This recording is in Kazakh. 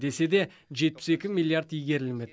десе де жетпіс екі миллиард игерілмеді